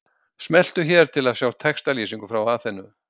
Smelltu hér til að sjá textalýsingu frá Aþenu